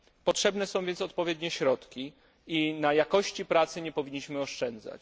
Potrzebne są więc odpowiednie środki i na jakości pracy nie powinniśmy oszczędzać.